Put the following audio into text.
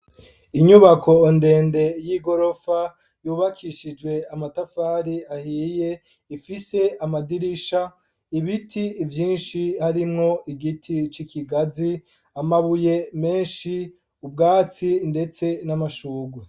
Inyubako ndende y'igorofa yubakishije amatafari ahiye, ifise amadirisha, ibiti vyinshi harimwo igiti c'ikigazi, amabuye menshi, ubwatsi ndetse n'amashurwe.